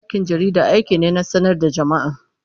Aikin jarida aiki ne na sanar da jama'a.